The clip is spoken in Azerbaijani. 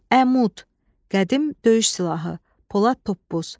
Əmud, qədim döyüş silahı, polad toppuz.